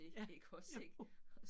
Ja, jo